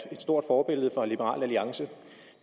et stort forbillede for liberal alliance